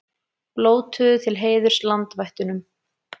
Blótuðu til heiðurs landvættunum